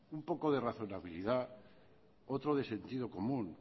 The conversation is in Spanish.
un poco de racionalibilidad otro de sentido común